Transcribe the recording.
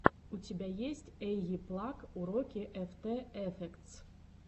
у тебя есть эйиплаг уроки эфтэ эфектс